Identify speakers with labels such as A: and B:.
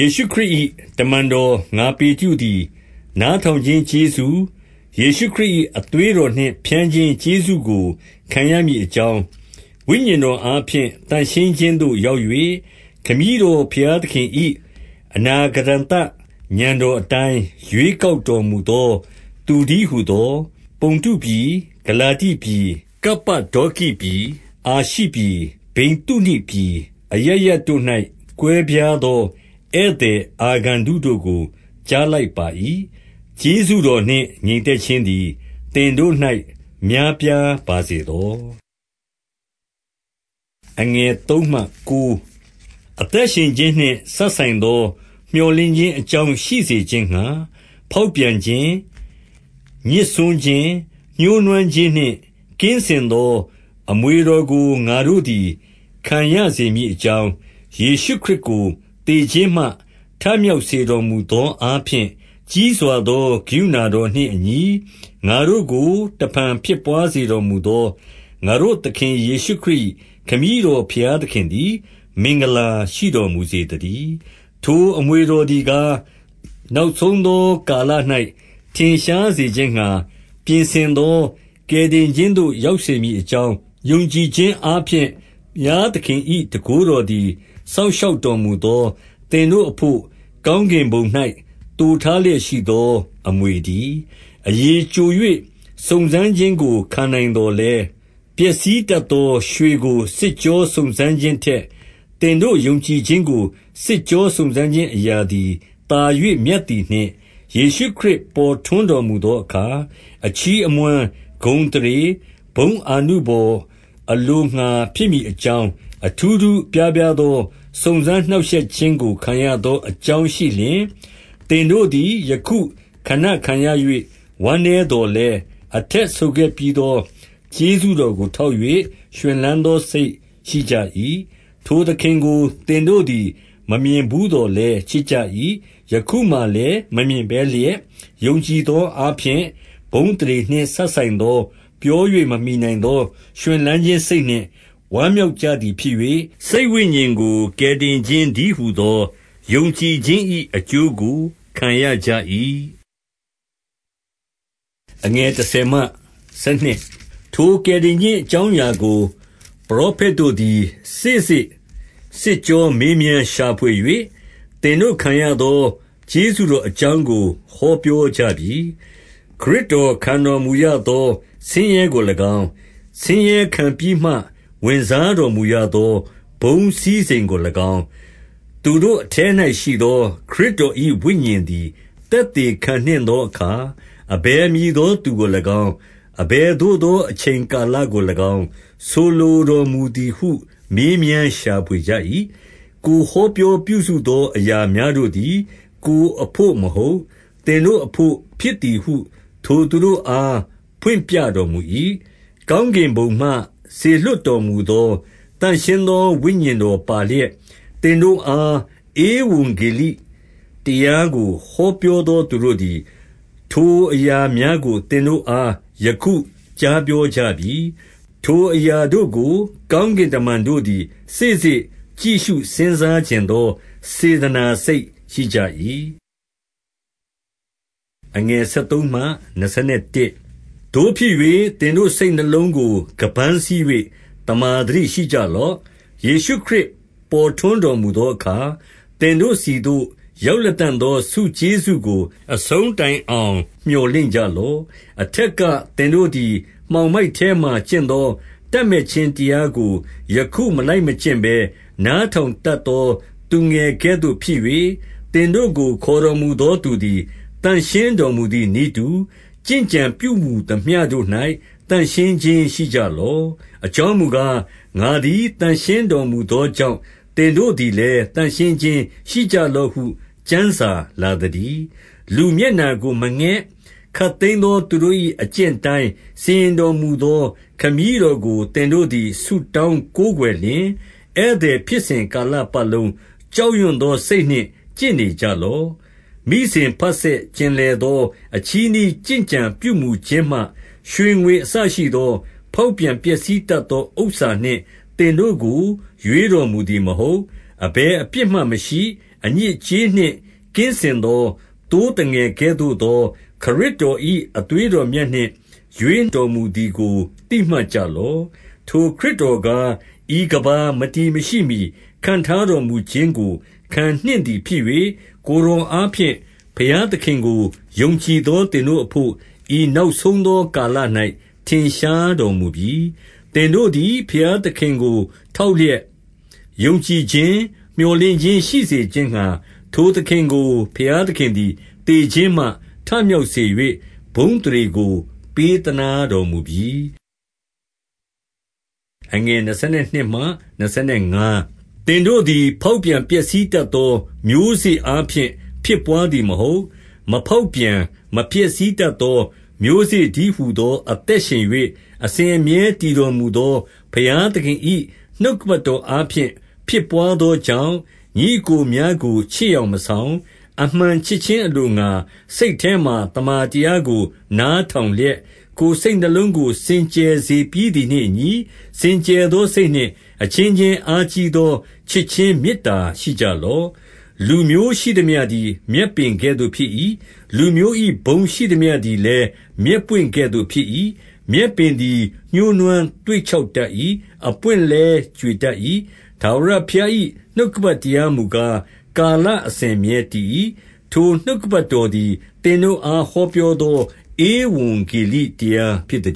A: ေရှုခရစ်၏ တမန်တော် ငါပေတရုသည်၊ နားထောင်ခြင်းကျေးဇူး၊ ယေရှုခရစ်၏ အသွေးတော်နှင့် ဖြန်းခြင်းကျေးဇူးကိုခံရမည်အကြောင်း၊ ဝိညာဉ်တော်အားဖြင့် သန့်ရှင်းခြင်းသို့ရောက်၍၊ ခမည်းတော် ဘုရားသခင်၏ အနာဂတံသဥာဏ်တော်အတိုင်း ရွေးကောက်တော်မူသောသူတည်းဟူသော၊ 2 ပုန္တုပြည်၊ ဂလာတိပြည်၊ ကပ္ပဒေါကိပြည်၊ အာရှိပြည်၊ ဗိသုနိပြည်၊ အရပ်ရပ်တို့၌ ကွဲပြားသော ဧည့်သည်အာဂန္တုတို့ကို ကြားလိုက်ပါ၏။ ကျေးဇူးတော်နှင့် ငြိမ်သက်ခြင်းသည် သင်တို့၌များပြားပါစေသော။ 3 အသက်ရှင်ခြင်းနှင့်စပ်ဆိုင်သော မြော်လင့်ခြင်းအကြောင်း ရှိစေခြင်းငှါ၊ ဖောက်ပြန်ခြင်း၊ ညစ်စွန်းခြင်း၊ ညှိုးနွမ်းခြင်းနှင့်ကင်းစင်သောအမွေတော်ကို ငါတို့သည် ခံရစေမည်အကြောင်း၊ ယေရှုခရစ်ကို သေခြင်းမှ ထမြောက်စေတော်မူသောအားဖြင့်၊ ကြီးစွာသောကရုဏာတော်နှင့်အညီ ငါတို့ကို တဖန်ဖြစ်ဘွားစေတော် မူသော၊ ငါတို့သခင်ယေရှုခရစ်၏ ခမည်းတော် ဘုရားသခင်သည် မင်္ဂလာရှိတော်မူစေသတည်း။ 4 ထိုအမွေတော်သည်ကား၊ နောက်ဆုံးသောကာလ၌ ထင်ရှားစေခြင်းငှါ ပြင်ဆင်သော ကယ်တင်ခြင်းသို့ ရောက်စေမည်အကြောင်း၊ 5 ယုံကြည်ခြင်းအားဖြင့် ဘုရားသခင်၏ တန်ခိုးတော်သည် စောင့်ရှောက်တော်မူသော သင်တို့အဘို့ ကောင်းကင်ဘုံ၌ သိုထားလျက်ရှိသောအမွေတည်း။ 6 အရည်ကျို၍စုံစမ်းခြင်းကိုခံနိုင်သော်လည်း၊ ပျက်စီးတတ်သော ရွှေကိုစစ်ကြောစုံစမ်းခြင်းထက်၊ သင်တို့ယုံကြည်ခြင်းကို စစ်ကြောစုံစမ်းခြင်းအရာသည်သာ၍ မြတ်သည်နှင့်၊ ယေရှုခရစ်ပေါ်ထွန်းတော် မူသောအခါ အချီးအမွမ်း၊ ဂုဏ်သရေ၊ ဘုန်းအာနုဘော် အလိုငှါဖြစ်မည်အကြောင်း၊ အထူးထူးအပြားပြားသော စုံစမ်းနှောင့်ရှက်ခြင်းကို ခံရသောအကြောင်းရှိလျှင်၊ 7 သင်တို့သည် ယခုခဏခံရ၍ ဝမ်းနည်းသော်လည်း၊ အထက်ဆိုခဲ့ပြီးသော ကျေးဇူးတော်ကိုထောက်၍ ရွှင်လန်းသောစိတ်ရှိကြ၏။ 8 ထိုသခင်ကိုသင်တို့သည် မမြင်ဘူးသော်လည်းချစ်ကြ၏။ ယခုမှာလည်းမမြင်ဘဲလျက်၊ ယုံကြည်သော အားဖြင့် ဘုန်းအသရေနှင့် စပ်ဆိုင်သော၊ ပြော၍မမှီနိုင်သော ရွှင်လန်းခြင်းစိတ်နှင့် ဝမ်းမြောက်ကြသည်ဖြစ်၍၊ 9 စိတ်ဝိညာဉ်ကို ကယ်တင်ခြင်းတည်းဟူသော ယုံကြည်ခြင်း၏ အကျိုးကိုခံရကြ၏။ 10 ထိုကယ်တင်ခြင်းအကြောင်းအရာကို ပရောဖက်တို့သည် စေ့စေ့စစ်ကြောမေးမြန်းရှာဖွေ၍၊ သင်တို့ ခံရသော ကျေးဇူးတော်အကြောင်းကို ဟောပြောကြပြီ။ 11 ခရစ်တော်ခံတော်မူရသော ဆင်းရဲကို၎င်း၊ ဆင်းရဲခံပြီးမှ ဝင်စားတော်မူရသော ဘုန်းစည်းစိမ်ကို၎င်း၊ သူတို့အထဲ၌ရှိသော ခရစ်တော်၏ဝိညာဉ်သည် သက်သေခံနှင့်သောအခါ၊ အဘယ်မည်သောသူကို၎င်း၊ အဘယ်သို့သောအချိန်ကာလကို၎င်း ဆိုလိုတော်မူသည်ဟု မေးမြန်းရှာဖွေကြ၏။ 12 ကိုယ်ဟောပြောပြုစုသော အရာများတို့သည်၊ ကိုယ်အဘို့မဟုတ်၊ သင်တို့အဘို့ဖြစ်သည်ဟု ထိုသူတို့ အားဖွင့်ပြတော်မူ၏။ ကောင်းကင်ဘုံမှ စေလွှတ်တော်မူသောသန့်ရှင်းသော ဝိညာဉ်တော်ပါလျက်၊ သင်တို့အား ဧဝံဂေလိတရားကို ဟောပြောသောသူတို့သည်၊ ထိုအရာများကို သင်တို့အား ယခုကြားပြောကြပြီ။ ထိုအရာတို့ကို ကောင်းကင်တမန်တို့သည် စေ့စေ့ကြည့်ရှု စဉ်းစားချင် သောစေတနာ စိတ်ရှိကြ၏။ 13 သို့ဖြစ်၍၊ သင်တို့စိတ်နှလုံးကို ခါးပန်းစည်း၍ သမ္မာသတိရှိကြလော့။ ယေရှုခရစ်ပေါ်ထွန်းတော် မူသောအခါ၊ သင်တို့ဆီသို့ရောက်လတံ့သောဆုကျေးဇူးကို အဆုံးတိုင်အောင် မြော်လင့်ကြလော့။ 14 အထက်က သင်တို့သည် မှောင်မိုက်ထဲမှာကျင့်သော တပ်မက်ခြင်းတရားကို ယခုမလိုက်မကျင့်ဘဲ၊ နားထောင်တတ်သော သူငယ်ကဲ့သို့ ဖြစ်၍၊ 15 သင်တို့ကိုခေါ်တော်မူသော သူသည်သန့်ရှင်းတော်မူသည်နည်းတူ၊ ကျင့်ကြံပြုမူသမျှတို့၌ သန့်ရှင်းခြင်း ရှိကြလော့။ 16 အကြောင်းမူကား၊ ငါသည်သန့်ရှင်းတော်မူသောကြောင့်၊ သင်တို့သည်လည်း သန့်ရှင်းခြင်းရှိကြလော့ ဟု ကျမ်းစာလာသတည်း။ 17 လူမျက်နှာကိုမငဲ့၊ ခပ်သိမ်းသောသူတို့၏ အကျင့်အတိုင်း စီရင်တော်မူသောခမည်းတော်ကို သင်တို့သည် ဆုတောင်းကိုးကွယ်လျှင်၊ ဧည့်သည်ဖြစ်စဉ် ကာလပတ်လုံး ကြောက်ရွံ့သောစိတ်နှင့် ကျင့်နေကြ လော့။ 18 မိစဉ်ဘဆက်ကျင်လည်သော အချည်းနှီးကျင့်ကြံပြုမူခြင်းမှ၊ ရွှေငွေအစရှိသော ဖောက်ပြန် ပျက်စီး တတ်သော ဥစ္စာနှင့် သင်တို့ကို ရွေးတော်မူသည်မဟုတ်။ 19 အဘယ်အပြစ်မျှမရှိ၊ အညစ်အကြေးနှင့် ကင်းစင်သော သိုးသငယ်ကဲ့သို့သော ခရစ်တော်၏ အသွေး တော်မြတ်နှင့်ရွေးတော်မူသည်ကို သိမှတ်ကြလော့။ 20 ထိုခရစ်တော်ကား၊ ဤကမ္ဘာမတည်မရှိမှီ ခန့်ထားတော်မူခြင်းကို ခံနှင့်သည်ဖြစ်၍၊ ကိုယ်တော်အား ဖြင့် ဘုရားသခင်ကို ယုံကြည်သော သင်တို့အဘို့၊ ဤနောက်ဆုံးသော ကာလ၌ ထင်ရှားတော်မူပြီ။ 21 သင်တို့သည် ဘုရားသခင်ကို ထောက်လျက်ယုံကြည်ခြင်း၊ မြော်လင့်ခြင်းရှိစေခြင်းငှါ၊ ထိုသခင်ကို ဘုရားသခင်သည် သေခြင်းမှ ထမြောက်စေ၍ ဘုန်းအသရေကို ပေးသနားတော်မူပြီ။ 22 သင်တို့သည် ဖောက်ပြန်ပျက်စီးတတ်သော မျိုးစေ့အားဖြင့် ဖြစ်ဘွားသည်မဟုတ်၊ 23 မဖောက်ပြန်မပျက်စီးတတ်သော မျိုးစေ့တည်းဟူသော အသက်ရှင်၍ အစဉ်အမြဲတည်တော်မူသော ဘုရားသခင်၏နှုတ်ကပတ်တော်အားဖြင့် ဖြစ်ဘွားသောကြောင့်၊ ညီအစ်ကိုများကိုချစ်ယောင်မဆောင်၊ အမှန်ချစ်ခြင်းအလိုငှါ စိတ်ထဲမှသမ္မာတရားကို နားထောင်လျက်၊ ကိုယ်စိတ်နှလုံးကို စင်ကြယ်စေပြီးသည်နှင့် အညီ၊ စင်ကြယ်သော စိတ်နှင့်အချင်းချင်း အားကြီးသောချစ်ခြင်းမေတ္တာရှိကြလော့။ 24 လူမျိုးရှိသမျှသည်လည်း မြက်ပွင့်ကဲ့သို့ဖြစ်၏။ လူမျိုး၏ ဘုန်းရှိသမျှသည်လည်း မြက်ပွင့်ကဲ့သို့ဖြစ်၏။ မြက်ပင်သည်ညှိုးနွမ်းသွေ့ခြောက်တတ်၏။ အပွင့်လည်း ကြွေတတ်၏။ 25 ထာဝရဘုရား၏ နှုတ်ကပတ်တရားမူကား၊ ကာလအစဉ်အမြဲတည်၏။ ထိုနှုတ်ကပတ်တော်သည်၊သင် တို့အား ဟောပြောသော ဧဝံဂေလိတရားဖြစ်သ